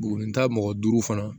Bugurita mɔgɔ duuru fana